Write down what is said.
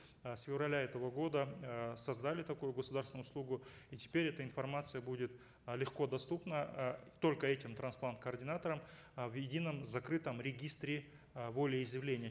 э с февраля этого года э создали такую государственную услугу и теперь эта информация будет э легкодоступна э только этим трансплант координаторам э в едином закрытом регистре э волеизъявления